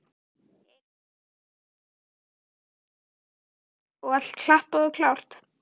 Elín: Og allt klappað og klárt?